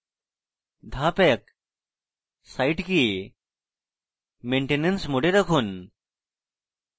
ধাপ 1: site maintenance mode এ রাখুন